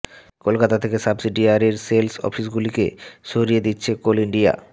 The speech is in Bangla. কলকাতা থেকে সাবসিডিয়ারির সেলস অফিসগুলিকে সরিয়ে দিচ্ছে কোল ইন্ডিয়া